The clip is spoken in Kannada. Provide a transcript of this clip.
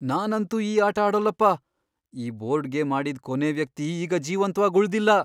ನಾನಂತೂ ಈ ಆಟ ಆಡೋಲ್ಲಪ್ಪ. ಈ ಬೋರ್ಡ್ ಗೇಮ್ ಆಡಿದ್ ಕೊನೇ ವ್ಯಕ್ತಿ ಈಗ ಜೀವಂತ್ವಾಗ್ ಉಳ್ದಿಲ್ಲ.